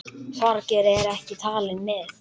Þorgeir er ekki talinn með.